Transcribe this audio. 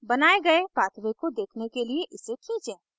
बनाये गए pathway को देखने के लिए इसे खींचें